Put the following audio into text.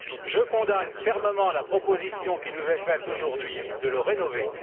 Je condamne fermement la proposition qui nous est faite aujourd'hui de le rénover.